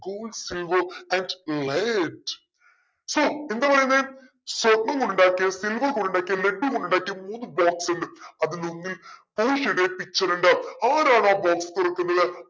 gold silver and led so എന്തപറയുന്നെ സ്വർണ്ണം കൊണ്ടുണ്ടാക്കിയ silver കൊണ്ടുണ്ടാക്കിയ led കൊണ്ടുണ്ടാക്കിയ മൂന്ന് box ഉണ്ട് അതിലൊന്നിൽ പോഷിയയുടെ picture ഉണ്ട്‌ ആരാണാ box തുറക്കുന്നത്